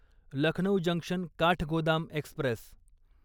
Lucknow junction Kathgodam Express